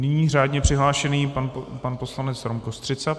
Nyní řádně přihlášený pan poslanec Rom Kostřica.